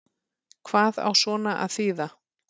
Hvað á svona að þýða